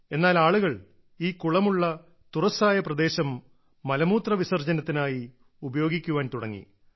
എന്നാൽ ആളുകൾ ഈ കുളമുള്ള തുറസ്സായ പ്രദേശം മലമൂത്ര വിസർജ്ജനത്തിനായി ഉപയോഗിക്കാൻ തുടങ്ങി